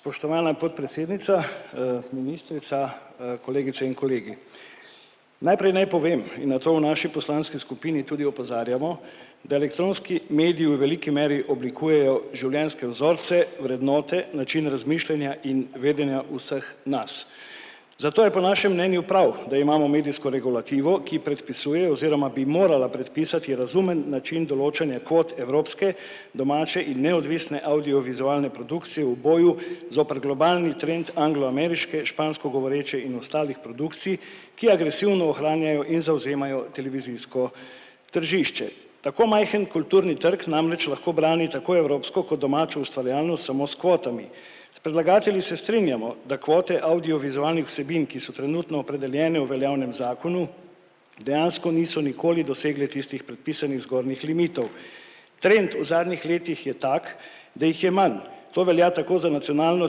Spoštovana podpredsednica, ministrica, kolegice in kolegi. Najprej naj povem in na to v naši poslanski skupini tudi opozarjamo, da elektronski mediji v veliki meri oblikujejo življenjske vzorce, vrednote, način razmišljanja in vedenja vseh nas. Zato je po našem mnenju prav, da imamo medijsko regulativo, ki predpisuje oziroma bi morala predpisati razumen način določanja kvot evropske domače in neodvisne avdiovizualne produkcije v boju zoper globalni trend anglo-ameriške, špansko govoreče in ostalih produkcij, ki agresivno ohranjajo in zavzemajo televizijsko tržišče. Tako majhen kulturni trg namreč lahko brani tako evropsko kot domačo ustvarjalnost samo s kvotami. S predlagatelji se strinjamo, da kvote avdiovizualnih vsebin, ki so trenutno opredeljene v veljavnem zakonu, dejansko niso nikoli dosegle tistih predpisanih zgornjih limitov. Trend v zadnjih letih je tako, da jih je manj. To velja tako za nacionalno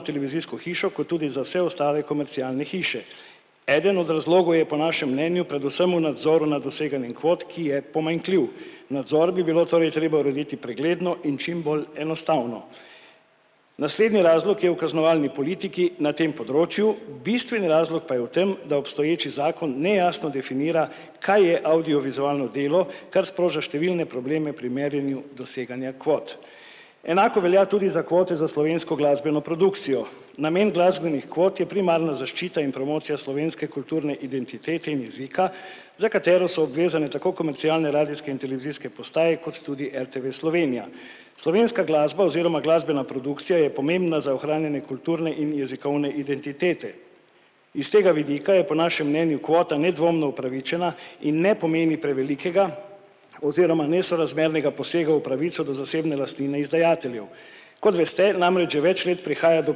televizijsko hišo kot tudi za vse ostale komercialne hiše. Eden od razlogov je po našem mnenju predvsem v nadzoru na doseganje kvot, ki je pomanjkljiv. Nadzor bi bilo torej treba urediti pregledno in čim bolj enostavno. Naslednji razlog je v kaznovalni politiki na tem področju, bistveni razlog pa je v tem, da obstoječi zakon nejasno definira, kaj je avdiovizualno delo, kar sproža številne probleme pri merjenju doseganja kvot. Enako velja tudi za kvote za slovensko glasbeno produkcijo. Namen glasbenih kvot je primarna zaščita in promocija slovenske kulturne identitete in jezika, za katero so obvezane tako komercialne radijske in televizijske postaje kot tudi RTV Slovenija. Slovenska glasba oziroma glasbena produkcija je pomembna za ohranjanje kulturne in jezikovne identitete. Iz tega vidika je po našem mnenju kvota nedvomno upravičena in ne pomeni prevelikega oziroma nesorazmernega posega v pravico do zasebne lastnine izdajateljev. Kot veste, namreč že več let prihaja do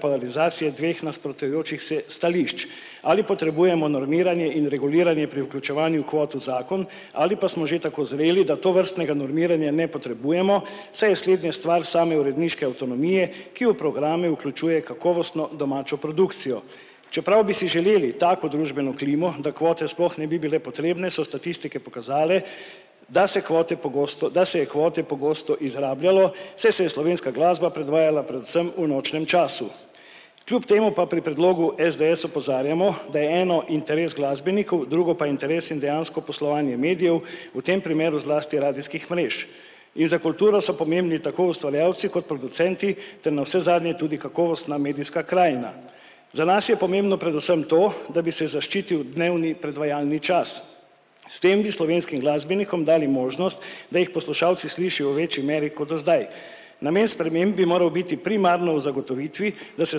polarizacije dveh nasprotujočih se stališč. Ali potrebujemo normiranje in reguliranje pri vključevanju kvot v zakon ali pa smo že tako zreli, da tovrstnega normiranja ne potrebujemo, saj je slednje stvar same uredniške avtonomije, ki v programe vključuje kakovostno domačo produkcijo. Čeprav bi si želeli tako družbeno klimo, da kvote sploh ne bi bile potrebne, so statistike pokazale, da se kvote pogosto, da se je kvote pogosto izrabljalo, saj se je slovenska glasba predvajala predvsem v nočnem času. Kljub temu pa pri predlogu SDS opozarjamo, da je eno interes glasbenikov, drugo pa interes in dejansko poslovanje medijev, v tem primeru zlasti radijskih mrež. In za kulturo so pomembni tako ustvarjalci kot producenti ter navsezadnje tudi kakovostna medijska krajina. Za nas je pomembno predvsem to, da bi se zaščitil dnevni predvajalni čas. S tem bi slovenskim glasbenikom dali možnost, da jih poslušalci slišijo v večji meri kot do zdaj. Namen sprememb mora biti primarno v zagotovitvi, da se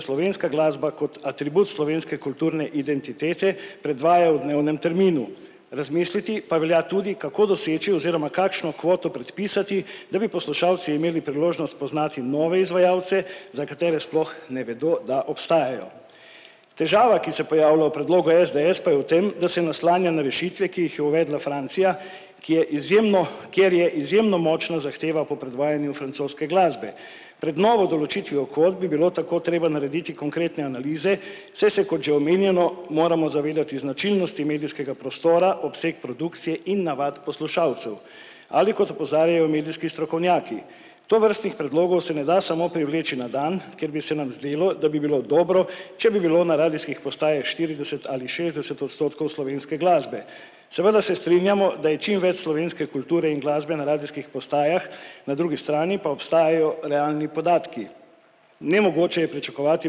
slovenska glasba kot atribut slovenske kulturne identitete predvaja v dnevnem terminu. Razmisliti pa velja tudi, kako doseči oziroma kakšno kvoto predpisati, da bi poslušalci imeli priložnost poznati nove izvajalce, za katere sploh ne vedo, da obstajajo. Težava, ki se pojavlja v predlogu SDS, pa je v tem, da se naslanja na rešitve, ki jih je uvedla Francija, ki je izjemno, kjer je izjemno močna zahteva po predvajanju francoske glasbe. Pred novo določitvijo kvot bi bilo tako treba narediti konkretne analize, saj se, kot že omenjeno, moramo zavedati značilnosti medijskega prostora, obseg produkcije in navad poslušalcev. Ali kot opozarjajo medijski strokovnjaki, tovrstnih predlogov se ne da samo privleči na dan, ker bi se nam zdelo, da bi bilo dobro, če bi bilo na radijskih postajah štirideset ali šestdeset odstotkov slovenske glasbe. Seveda se strinjamo, da je čimveč slovenske kulture in glasbe na radijskih postajah, na drugi strani pa obstajajo realni podatki. Nemogoče je pričakovati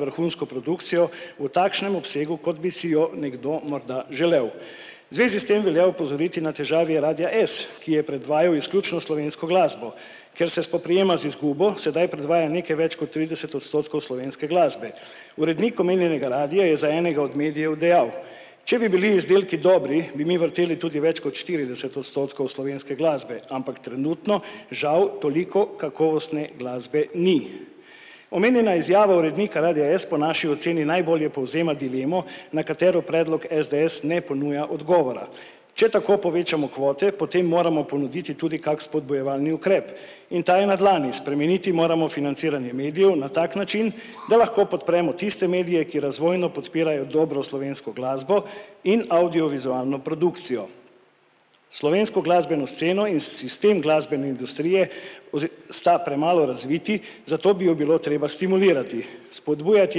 vrhunsko produkcijo v takšnem obsegu, kot bi si jo nekdo morda želel. Zvezi s tem velja opozoriti na težave radia S, ki je predvajal izključno slovensko glasbo, ker se spoprijema z izgubo, sedaj predvaja nekaj več kot trideset odstotkov slovenske glasbe. Urednik omenjenega radia je za enega od medijev dejal: "Če bi bili izdelki dobri, bi mi vrteli tudi več kot štirideset odstotkov slovenske glasbe, ampak trenutno žal toliko kakovostne glasbe ni." Omenjena izjava urednika radia S po naši oceni najbolje povzema dilemo, na katero predlog SDS ne ponuja odgovora. Če tako povečamo kvote, potem moramo ponuditi tudi kak spodbujevalni ukrep, in ta je na dlani. Spremeniti moramo financiranje medijev na tak način, da lahko podpremo tiste medije, ki razvojno podpirajo dobro slovensko glasbo in avdiovizualno produkcijo. Slovensko glasbeno sceno in sistem glasbene industrije sta premalo razvita, zato bi jo bilo treba stimulirati. Spodbujati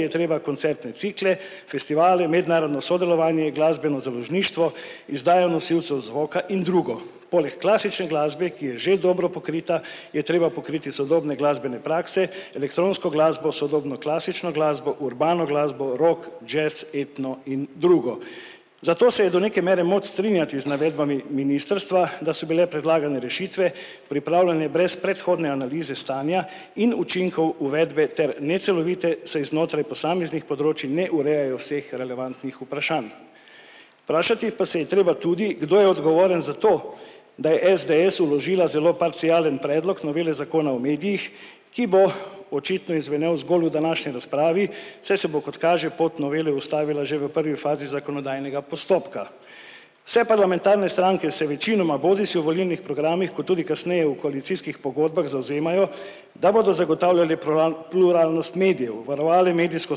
je treba koncertne cikle, festivale, mednarodno sodelovanje, glasbeno založništvo, izdajo nosilcev zvoka in drugo. Poleg klasične glasbe, ki je že dobro pokrita, je treba pokriti sodobne glasbene prakse, elektronsko glasbo, sodobno klasično glasbo, urbano glasbo, rovk jazz, etno in drugo. Zato se je do neke mere moč strinjati z navedbami ministrstva, da so bile predlagane rešitve pripravljene brez predhodne analize stanja in učinkov uvedbe ter necelovite, saj znotraj posameznih področij ne urejajo vseh relevantnih vprašanj. Vprašati pa se je treba tudi, kdo je odgovoren za to, da je SDS vložila zelo parcialen predlog novele zakona o medijih, ki bo očitno izzvenel zgolj v današnji razpravi, saj se bo, kot kaže, pot novele ustavila že v prvi fazi zakonodajnega postopka. Se parlamentarne stranke se večinoma bodisi v volilnih programih kot tudi kasneje v koalicijskih pogodbah zavzemajo, da bodo zagotavljale pluralnost medijev, varovale medijsko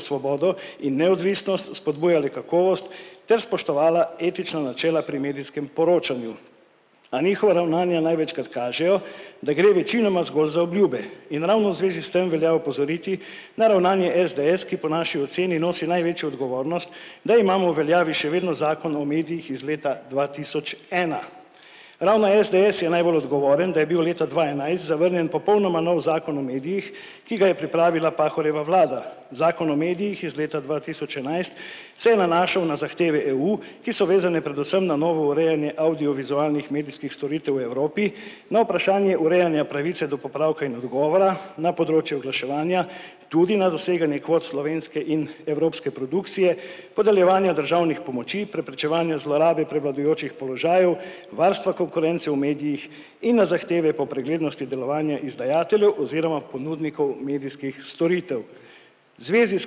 svobodo in neodvisnost, spodbujale kakovost ter spoštovale etična načela pri medijskem poročanju. A njihova ravnanja največkrat kažejo, da gre večinoma zgolj za obljube in ravno zvezi s tem velja opozoriti na ravnanje SDS, ki po naši oceni nosi največjo odgovornost, da imamo v veljavi še vedno zakon o medijih iz leta dva tisoč ena. Ravno SDS je najbolj odgovoren, da je bil leta dva enajst zavrnjen popolnoma nov zakon o medijih, ki ga je pripravila Pahorjeva vlada, zakon o medijih je iz leta dva tisoč enajst se je nanašal na zahteve EU, ki so vezane predvsem na novo urejanje avdiovizualnih medijskih storitev v Evropi. Na vprašanje urejanja pravice do popravka in odgovora na področju oglaševanja, tudi na doseganje kvot slovenske in evropske produkcije, podeljevanja državnih pomoči, preprečevanja zlorabe prevladujočih položajev, varstva konkurence v medijih in na zahteve po preglednosti delovanja izdajateljev oziroma ponudnikov medijskih storitev. Zvezi s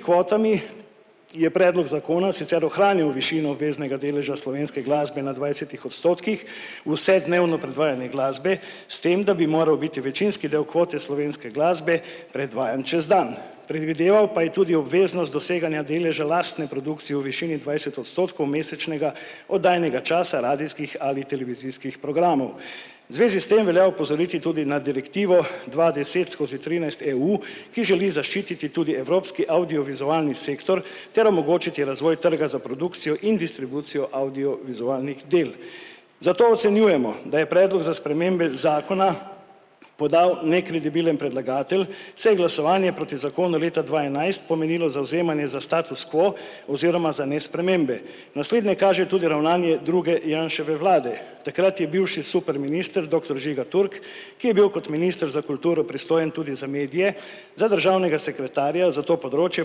kvotami je predlog zakona sicer ohranil višino obveznega deleža slovenske glasbe na dvajsetih odstotkih, vsednevno predvajanje glasbe, s tem da bi moral biti večinski del kvote slovenske glasbe predvajan čez dan. Predvideval pa je tudi obveznost doseganja deleža lastne produkcije v višini dvajset odstotkov mesečnega oddajnega časa radijskih ali televizijskih programov. Zvezi s tem velja opozoriti tudi na direktivo dva deset skozi trinajst EU, ki želi zaščititi tudi evropski avdiovizualni sektor ter omogočiti razvoj trga za produkcijo in distribucijo avdiovizualnih del. Zato ocenjujemo, da je predlog za spremembe zakona podal nekredibilen predlagatelj, se jim glasovanje proti zakonu leta dva enajst pomenilo zavzemanje za status quo oziroma za nespremembe. Naslednja kaže tudi ravnanje druge Janševe vlade, takrat je bil še superminister doktor Žiga Turk, ki je bil kot minister za kulturo pristojen tudi za medije, za državnega sekretarja za to področje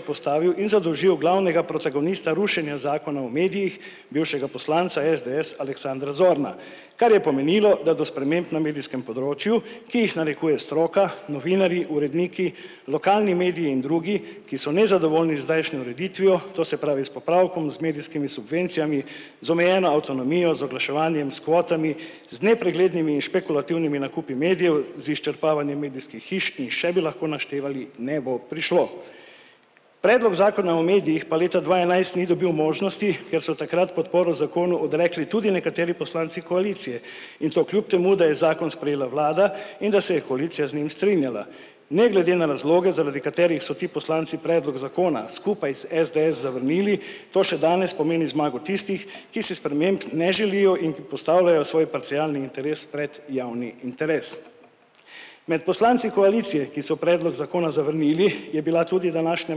postavil in zadolžil glavnega protagonista rušenja zakona o medijih, bivšega poslanca SDS Aleksandra Zorna. Kar je pomenilo, da do sprememb na medijskem področju, ki jih narekuje stroka, novinarji, uredniki lokalni mediji in drugi, ki so nezadovoljni z zdajšnjo ureditvijo, to se pravi s popravkom z medijskimi subvencijami, z omejeno avtonomijo, z oglaševanjem, s kvotami, z nepreglednimi in špekulativnimi nakupi medijev, z izčrpavanjem medijskih hiš in še bi lahko naštevali, ne bo prišlo. Predlog zakona o medijih pa leta dva enajst ni dobil možnosti, ker so takrat podporo zakonu odrekli tudi nekateri poslanci koalicije, in to kljub temu, da je zakon sprejela vlada in da se je koalicija z njim strinjala. Ne glede na razloge, zaradi katerih so ti poslanci predlog zakona skupaj s SDS zavrnili, to še danes pomeni zmago tistih, ki se sprememb ne želijo in ki postavljajo svoj parcialni interes pred javni interes. Med poslanci koalicije, ki so predlog zakona zavrnili, je bila tudi današnja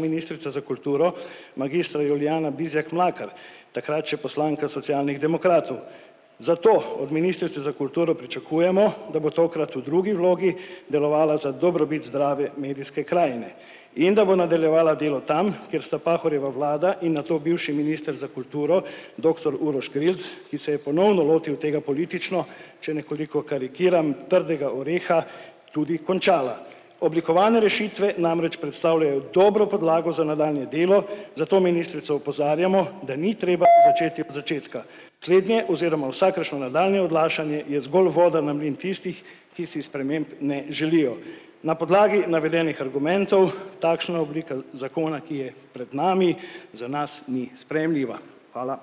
ministrica za kulturo magistra Julijana Bizjak Mlakar, takrat še poslanka Socialnih demokratov. Zato od ministrice za kulturo pričakujemo, da bo tokrat v drugi vlogi delovala za dobrobit zdrave medijske krajine in da bo nadaljevala delo tam, kjer sta Pahorjeva vlada in nato bivši minister za kulturo doktor Uroš Grilc, ki se je ponovno lotil tega politično, če nekoliko karikiram, prvega oreha tudi končala. Oblikovane rešitve namreč predstavljajo dobro podlago za nadaljnje delo, zato ministrico opozarjamo, da ni treba začeti začetka. Slednje oziroma vsakršno nadaljnje odlašanje je zgolj voda na mlin tistih, ki si sprememb ne želijo. Na podlagi navedenih argumentov takšna oblika zakona, ki je pred nami, za nas ni sprejemljiva. Hvala.